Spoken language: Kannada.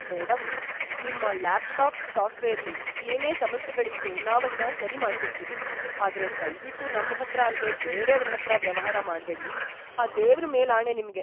ಮೇಡಂ, ನಿಮ್ಮ ಲ್ಯಾಪ್ಟಾಪ್ ಸಾಫ್ಟ್ವೇರ್ಲಿ ಏನೇ ಸಮಸ್ಯೆಗಳಿದ್ರೂ ನಾವದ್ನ ಸರಿಮಾಡ್ಕೊಡ್ತೀವಿ, ಆದ್ರೆ ದಯ್ವಿಟ್ಟು ನಮ್ಹತ್ರ ಅಲ್ದೇ ಬೇರೇವ್ರ್‌ ಹತ್ರ ವ್ಯವಹಾರ ಮಾಡ್ಬೇಡಿ, ಆ ದೇವ್ರ್‌ ಮೇಲಾಣೆ ನಿಮ್ಗೆ.